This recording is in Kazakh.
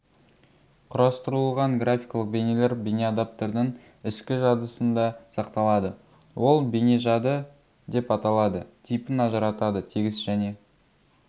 құрастырылған графикалық бейнелер бейнеадаптердің ішкі жадысында сақталады ол бейнежады деп аталады типін ажыратады тегіс және